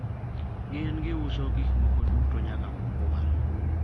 gin giuso gikmoko duto nyaka mokwal